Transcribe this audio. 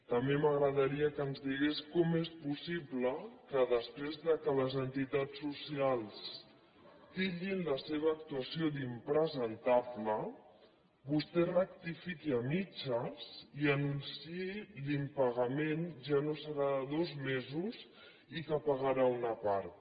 també m’agradaria que ens digués com és possible que després que les entitats socials titllin la seva actuació d’impresentable vostè ho rectifiqui a mitges i anunciï que l’impagament ja no serà de dos mesos i que en pagarà una part